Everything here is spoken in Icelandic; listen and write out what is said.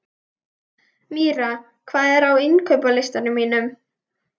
Mýra, hvað er á innkaupalistanum mínum?